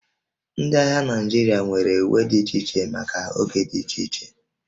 Ndị agha Naịjirịa nwere uwe dị iche iche maka oge dị iche iche